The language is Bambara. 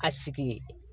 A sigi